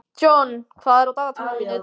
John, hvað er á dagatalinu í dag?